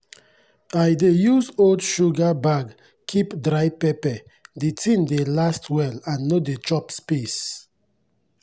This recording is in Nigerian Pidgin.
i dey use old sugar bag keep dry pepper the thing dey last well and no dey chop space.